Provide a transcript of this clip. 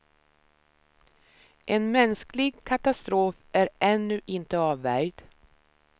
En mänsklig katastrof är ännu inte avvärjd.